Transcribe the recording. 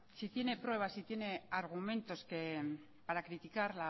si tiene pruebas y tiene argumentos para criticar